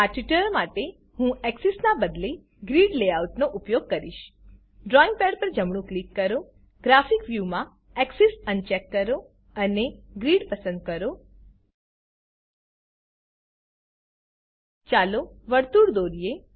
આ ટ્યુટોરીયલ માટે હું એક્સેસ નાં બદલે ગ્રિડ લેઆઉટનો ઉપયોગ કરીશ ડ્રોઈંગ પેડ પર જમણું ક્લિક કરો ગ્રાફિક વ્યૂ માં એક્સેસ અનચેક કરો અને ગ્રિડ પસંદ કરો ચાલો વર્તુળ દોરીએ